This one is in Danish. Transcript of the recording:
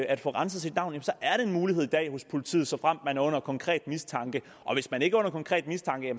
at få renset sit navn jamen så er det en mulighed i dag hos politiet såfremt man er under konkret mistanke og hvis man ikke er under konkret mistanke